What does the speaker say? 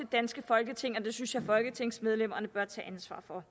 danske folketing og det synes jeg at folketingsmedlemmerne bør tage ansvar for